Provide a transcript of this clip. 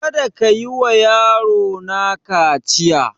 Kada kayi wa yaro na kaciya!